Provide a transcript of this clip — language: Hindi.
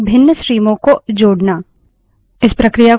pipes का उपयोग commands की श्रृंखला बनाने के लिए करते हैं